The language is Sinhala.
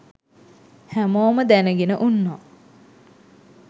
හැමෝම දැනගෙන උන්නා